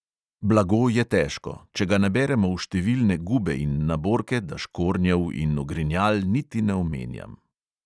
"Blago je težko, če ga naberemo v številne gube in naborke, da škornjev in ogrinjal niti ne omenjam."